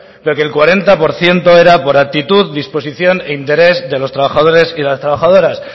pero que el cuarenta por ciento era por actitud disposición e interés de los trabajadores y las trabajadoras